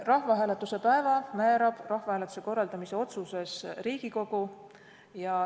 Rahvahääletuse päeva määrab rahvahääletuse korraldamise otsuses Riigikogu.